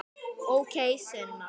Ókei, Sunna.